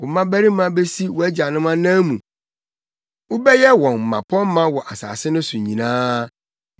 Wo mmabarima besi wʼagyanom anan mu wobɛyɛ wɔn mmapɔmma wɔ asase no so nyinaa.